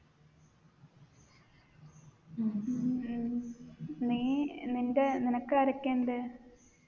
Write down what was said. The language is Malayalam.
ഉം നീ നിൻെറ നിനക്കാരൊക്കെ ഉണ്ട്